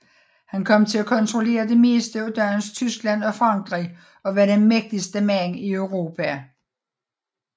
Han kom til at kontrollere det meste af dagens Tyskland og Frankrig og var den mægtigste mand i Europa